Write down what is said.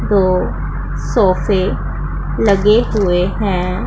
दो सोफे लगे हुए हैं।